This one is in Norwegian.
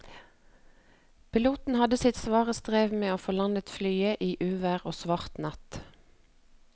Piloten hadde sitt svare strev med å få landet flyet i uvær og svart natt.